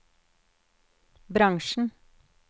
bransjen